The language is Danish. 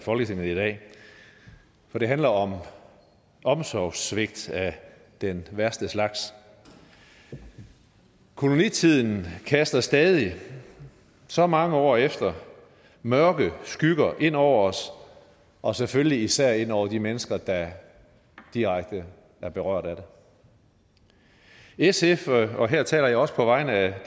folketinget i dag for det handler om omsorgssvigt af den værste slags kolonitiden kaster stadig så mange år efter mørke skygger ind over os og selvfølgelig især ind over de mennesker der er direkte berørt af det sf og her taler jeg også på vegne af